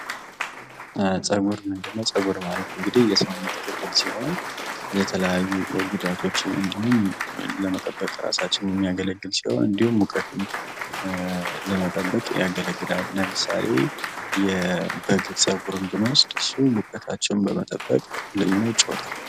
ፀጉር ምንድነው ጸጉር ማለት እንግዲህ የሰውነት ክፍል ሲሆን የተለያዩ ጉዳቶችን እንዲሁም ራሳችንን ለመጠበቅ እንዲሁም ሙቀትን ለመጠበቅ ያገለግላል ለምሳሌ የበግ ፀጉርን ብንወስድ ሙቀታቸውን በመጠበቅ ትልቅ ሚናጫውታል።